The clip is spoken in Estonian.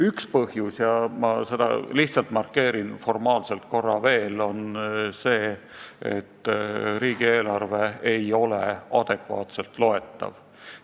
Üks põhjus – ma lihtsalt markeerin seda korra veel – on see, et riigieelarve ei ole adekvaatselt loetav.